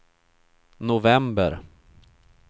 november